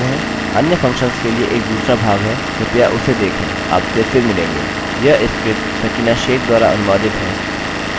अच्छा तो समय की कमी है इसलिए विडियो यहीं रोक देते हैं अन्य फंक्शंस के लिए एक दूसरा भाग है कृपया उसे देखें